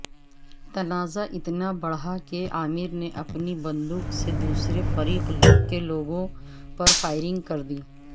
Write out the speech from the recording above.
تنازع اتنا بڑھا کہ عامر نے اپنی بندوق سے دوسرے فریق کے لوگوں پرفائرنگ کردی